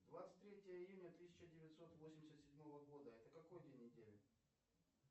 двадцать третье июня тысяча девятьсот восемьдесят седьмого года это какой день недели